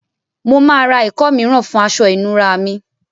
Mo màá re ìkó mìíràn fùn aso ìnura mi